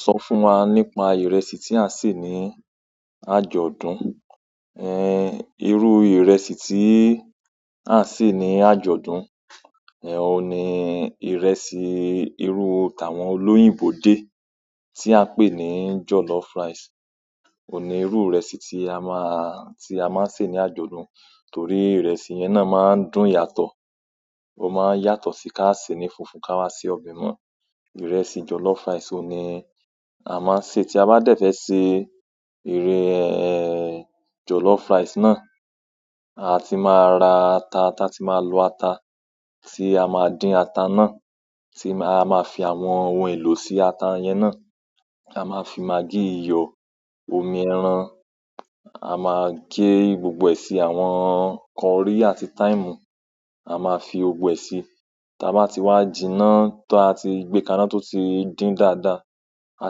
Sọ fún wa nípa ìrẹsì tí a sè ní àjọ̀dún. Ẹn irú ìrẹsì tí à ń sè ní àjọ̀dún ní oun ni ìrẹsì irú tàwọn olóyìnbó dé tí à ń pè ní jọ̀lọ́f rice. Ó ní irú ìrẹsì tí a máa, tí a máa ń sè ní àjọ̀dún torí ìrẹsì yẹn náà máa ń dùn yàtọ̀. Ó máa ń yàtọ̀ sí kí a sè ní funfun ká wa sí ọbẹ̀ mọ. Ìrẹsì jollof rice òní a máa sè tí a bá dẹ̀ fẹ́ ṣe, ère ehn, ehn, jollof rice náà, a ti máa ra ata, ata tí máa lọ ata tí a máa dín ata náà tí a máa fi àwọn ohun èlò sí ata yẹn náà. A máa fi magí iyọ̀, omi ẹran, a máa gé gbogbo ẹ̀ si i àwọn curry àti thyme, a máa fi gbogbo ẹ̀ si i tí a bá ti wá jìnnà tó a ti gbé ká ná tó ti dín dáadáa. A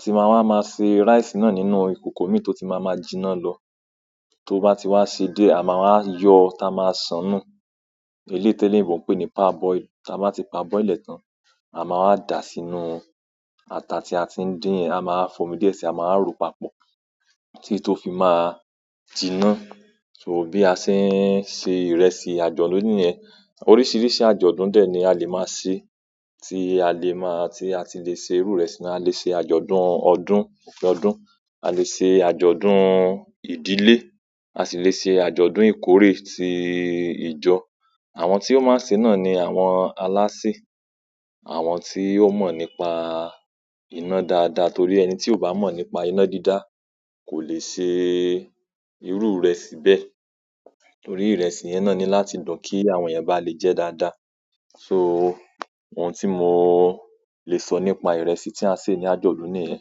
ti máa wá máa se rice náà nínú ìkòkò mí tó ti máa ma jìnnà lọ. Tó bá ti wá ṣe díẹ̀, a máa wá yọ tá a máa sán án nù. Eléyìí téléèbó ń pè ní parboil. Tá a bá ti parboil ẹ̀ tán, á á wá dà á sínú ata tí a tí ń dín yẹn, á á ma wá foni díẹ̀ si i, a ma wá rò ó papọ̀ títí tó fi máa jiná. So bí a ṣe ń se ìrẹsì àjọ̀dún nìyẹn. Oríṣiríṣi àjọ̀dún dẹ̀ ni a lè máa ṣe. A lè ṣe àjọ̀dún ọdún, òkè ọdún, a lè ṣe àjọ̀dún ìdílé, a sì lè ṣe àjọ̀dún ìkórè ti ìjọ. Àwọn tí ó máa ń ṣè é náà ni àwọn alásè. Àwọn tí ó mọ̀ nípa iná dáadáa torí ẹni tí ò bá mọ̀ nípa iná dídá, kò le ṣe iru ìrẹsì bẹ́ẹ̀ torí ìrẹsì yẹn náà ní láti dùn kí àwọn èèyàn bá le jẹ ẹ́ dáadáa. So oun tí mo le sọ ìrẹsì tí à ń ṣè ní àjọ̀dún nìyẹn.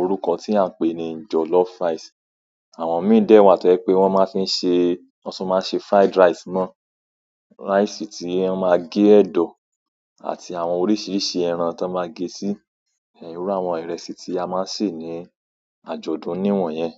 Orúkọ tí a ń pè ní jollof rice. Àwọn míì dẹ̀ wàá tọ́ jẹ́ pé wọ́n máa ń fi ń ṣe, wọ́n tún máa ń ṣe fried rice náà. Rice tí ẹ máa gé ẹ̀dọ̀ àti àwọn oríṣiríṣi ẹran tán máa gé sí. Ehn, irú àwọn ìrẹsì tí a máa sè ní àjọ̀dún nìwọ̀nyẹn.